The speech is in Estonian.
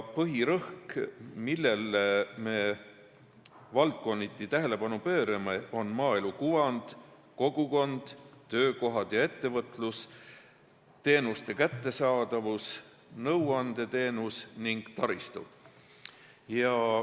Põhirõhk, millele me valdkonniti tähelepanu pöörame, on maaelu kuvand, kogukond, töökohad ja ettevõtlus, teenuste kättesaadavus, nõuandeteenus ning taristud.